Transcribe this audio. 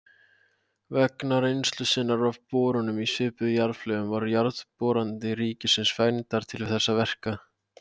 Vegna reynslu sinnar af borunum í svipuð jarðlög voru Jarðboranir ríkisins fengnar til þessara verka.